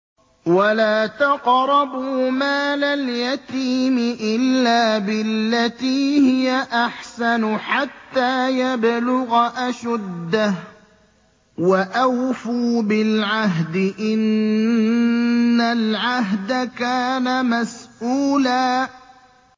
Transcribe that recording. وَلَا تَقْرَبُوا مَالَ الْيَتِيمِ إِلَّا بِالَّتِي هِيَ أَحْسَنُ حَتَّىٰ يَبْلُغَ أَشُدَّهُ ۚ وَأَوْفُوا بِالْعَهْدِ ۖ إِنَّ الْعَهْدَ كَانَ مَسْئُولًا